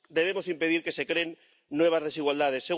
Debemos impedir que se creen nuevas desigualdades.